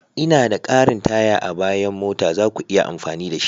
Ina da ƙarin taya a bayan mota, za ku iya amfani da shi.